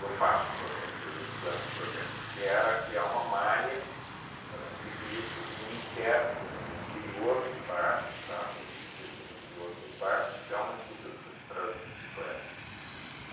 eu faço o projeto, eu implanto o projeto, que era criar uma malha para ciclistas no inter no no interior dos bairros, tá, por os ciclistas no interior dos bairros, criar uma estrutura para esse para as próprias bicicletas.